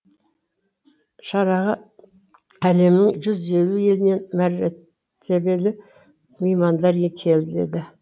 шараға әлемнің жүз елу елінен мәртебелі меймандар келеді